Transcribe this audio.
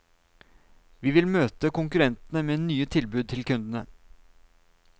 Vi vil møte konkurrentene med nye tilbud til kundene.